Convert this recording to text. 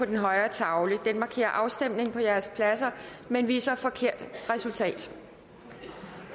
den højre tavle den markerer afstemning på jeres pladser men viser forkert resultat